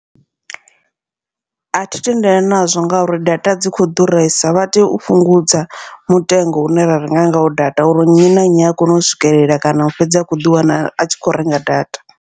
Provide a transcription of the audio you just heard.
Athi tendelani nazwo ngauri data dzi kho ḓuresa vha tea u fhungudza mutengo une ra renga ngawo data, uri nnyi na nnyi a kona u swikelela kana u fhedza a kho ḓi wana a tshi kho renga data.